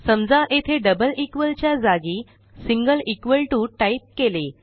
समजा येथे double equal च्या जागी सिंगल इक्वॉल टीओ टाईप केले